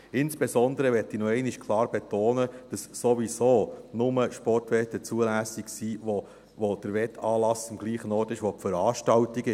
Insbesondere möchte ich noch einmal klar betonen, dass sowieso nur Sportwetten zulässig sind, bei denen der Wettanlass am selben Ort stattfindet wie die Veranstaltung.